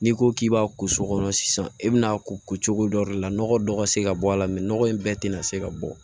N'i ko k'i b'a ko so kɔnɔ sisan i bɛna'a ko ko cogo dɔ de la nɔgɔ dɔ ka se ka bɔ a la nɔgɔ in bɛɛ tɛna se ka bɔ